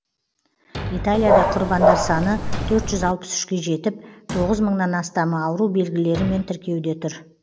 италияда құрбандар саны төрт жүз алпыс үшке жетіп тоғыз мыңнан астамы ауру белгілерімен тіркеуде тұр